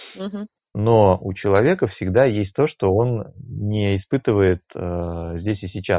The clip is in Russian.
угу но у человека всегда есть то что он не испытывает здесь и сейчас